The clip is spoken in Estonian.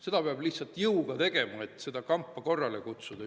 Seda peab lihtsalt jõuga tegema, et seda kampa korrale kutsuda.